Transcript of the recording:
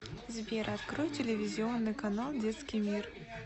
сбер открой телевизионный канал детский мир